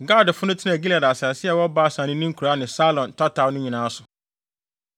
Gadfo no tenaa Gilead asase a ɛwɔ Basan ne ne nkuraa ne Saron tataw no nyinaa so.